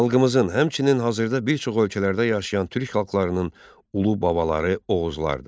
Xalqımızın, həmçinin hazırda bir çox ölkələrdə yaşayan türk xalqlarının ulu babaları Oğuzlardır.